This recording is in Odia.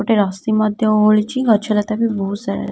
ଗୋଟେ ରସି ମଧ୍ୟ ଓହଳିଚି। ଗଛ ଲତା ବି ବହୁତ ସାରା --